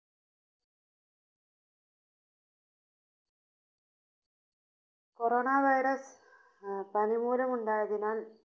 Corona Virus അഹ് പനിമൂലം ഉണ്ടായതിനാൽ